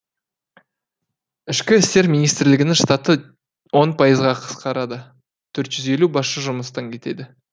ішкі істер министрлігінің штаты он пайызға қысқарады төрт жүз елу басшы жұмыстан кетеді